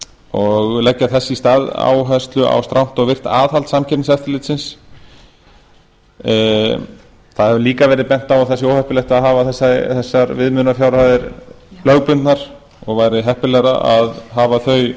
og leggja þess í stað áherslu á strangt og virkt aðhald samkeppniseftirlitsins það hefur líka verið bent á að það sé óheppilegt að hafa þessar viðmiðunarfjárhæðir lögbundnar og væri heppilegra að hafa þau